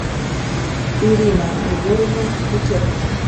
ирина григорьевна бекетова